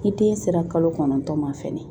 Ni den sera kalo kɔnɔntɔn ma fɛnɛ